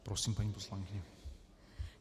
Prosím, paní poslankyně.